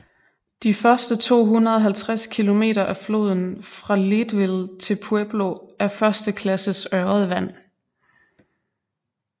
De første 250 km af floden fra Leadville til Pueblo er første klasses ørredvand